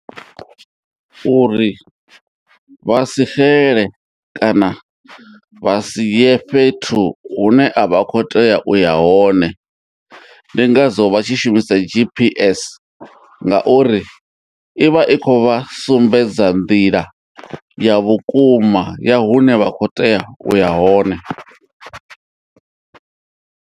Uri vhasi xele kana vha sie fhethu hune a vha kho tea uya hone ndi ngazwo vha tshi shumisa GPS ngauri ivha i kho vha sumbedza nḓila ya vhukuma ya hune vha kho tea uya hone.